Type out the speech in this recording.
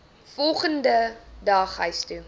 volgende dag huistoe